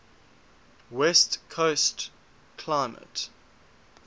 west coast climate